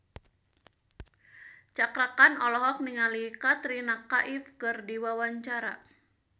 Cakra Khan olohok ningali Katrina Kaif keur diwawancara